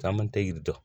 Caman tɛ yiri dɔn